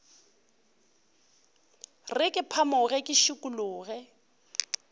re ke phamoge ke šikologe